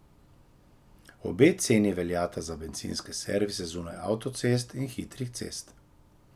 Obe ceni veljata za bencinske servise zunaj avtocest in hitrih cest.